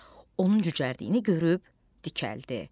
Onun cücərdiyini görüb dikəldi.